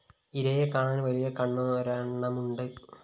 ഇരയെ കാണാന്‍ വലിയ കണ്ണൊരെണ്ണമുണ്ട്